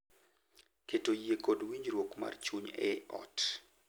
Keto yie kod winjruok mar chuny e ot